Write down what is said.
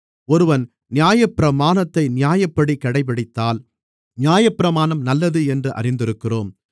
ஒருவன் நியாயப்பிரமாணத்தை நியாயப்படி கடைபிடித்தால் நியாயப்பிரமாணம் நல்லது என்று அறிந்திருக்கிறோம்